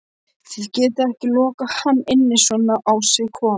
Þið getið ekki lokað hann inni svona á sig kominn